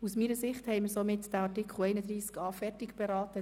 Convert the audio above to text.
Aus meiner Sicht haben wir den Artikel 31a zu Ende beraten.